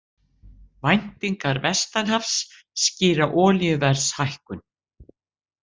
Væntingar vestanhafs skýra olíuverðshækkun